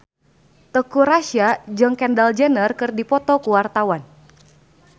Teuku Rassya jeung Kendall Jenner keur dipoto ku wartawan